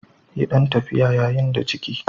Yi ɗan tafiya yayin da ciki.